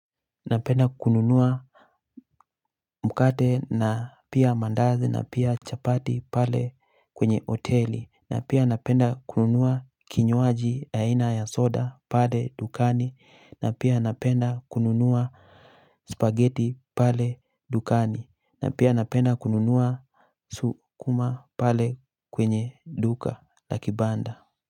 Napenda kununua mkate na pia mandazi na pia chapati pale kwenye hoteli na pia napenda kununua kinywaji aina ya soda pale dukani na pia napenda kununua spaghetti pale dukani na pia napenda kununua sukuma pale kwenye duka na kibanda.